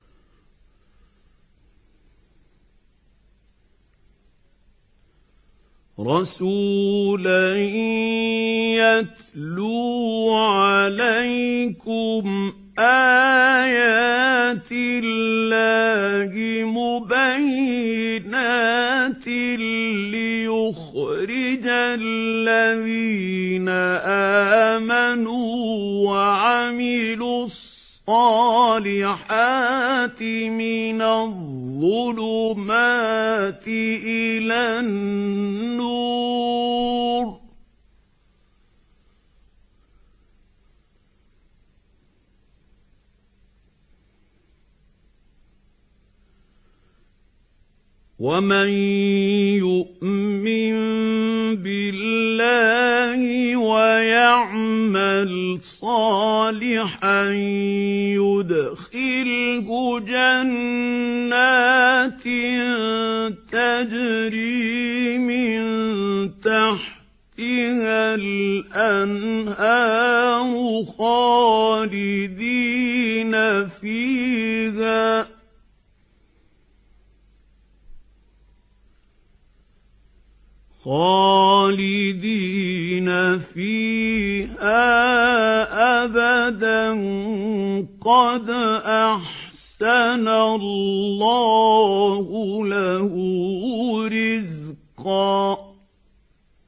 رَّسُولًا يَتْلُو عَلَيْكُمْ آيَاتِ اللَّهِ مُبَيِّنَاتٍ لِّيُخْرِجَ الَّذِينَ آمَنُوا وَعَمِلُوا الصَّالِحَاتِ مِنَ الظُّلُمَاتِ إِلَى النُّورِ ۚ وَمَن يُؤْمِن بِاللَّهِ وَيَعْمَلْ صَالِحًا يُدْخِلْهُ جَنَّاتٍ تَجْرِي مِن تَحْتِهَا الْأَنْهَارُ خَالِدِينَ فِيهَا أَبَدًا ۖ قَدْ أَحْسَنَ اللَّهُ لَهُ رِزْقًا